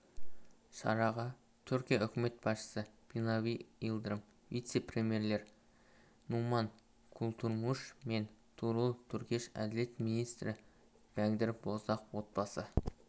шараға түркия үкімет басшысыбинали йылдырым вице-премьерлер нуман куртулмуш пен тугрул түркеш әділет министрі бәкір боздағ отбасы